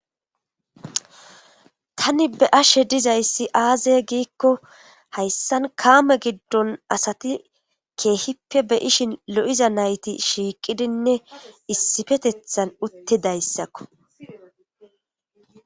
Tani be ashe dizayssi aaze giikko hayssan kaame giddon asati keehippe be ishin lo7iza nayti shiiqidinne issifetethan uttidayssakko